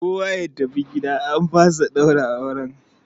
Kowa ya tafi gida an fasa ɗaura auren!